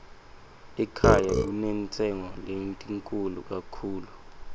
ekhaya kunentshengo lenkitulu katchulu